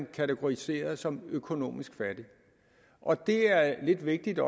kategoriseret som økonomisk fattige og det er lidt vigtigt